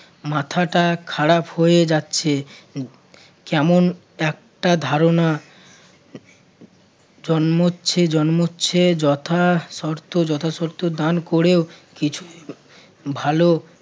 মাথাটা খারাপ হয়ে যাচ্ছে কেমন একটা ধারণা জন্মচ্ছে~ জন্মচ্ছে যথাশর্ত~ যথাশর্ত দান করেও কিছু ভালো